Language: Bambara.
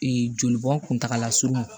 joli bɔn kuntagala surun